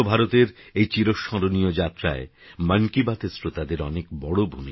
স্বচ্ছভারতেরএইচিরস্মরণীয়যাত্রায় মনকিবাতএরশ্রোতাদেরঅনেকবড়